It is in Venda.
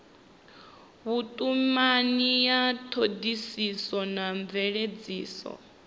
vhutumani ya thodisiso na mveledziso